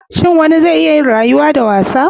Shin wani zai iya yin rayuwa da wasa?